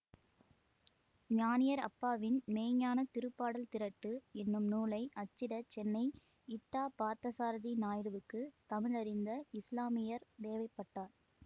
ஞானியர் அப்பாவின் மெய்ஞ்ஞானத் திருப்பாடல் திரட்டு என்னும் நூலை அச்சிட சென்னை இட்டா பார்த்தசாரதி நாயுடுவுக்கு தமிழறிந்த இஸ்லாமியர் தேவைப்பட்டார்